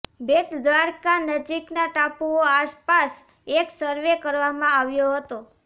બેટ દ્વારકા નજીકના ટાપુઓ આસપાસ એક સરવે કરવામાં આવ્યો હતો